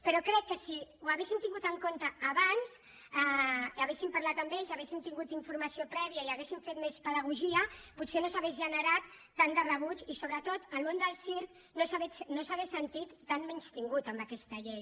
però crec que si ho haguéssim tingut en compte abans hi haguéssim parlat haguéssim tingut informació prèvia i haguéssim fet més pedagogia potser no s’hauria generat tant de rebuig i sobretot el món del circ no s’hauria sentit tan menystingut en aquesta llei